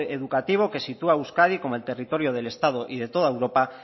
educativo que sitúa a euskadi como el territorio del estado y de toda europa